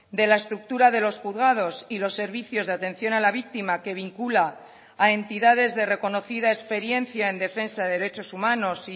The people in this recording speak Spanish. de la estructura de los juzgados y los servicios de atención a la víctima que vincula a entidades de reconocida experiencia en defensa de derechos humanos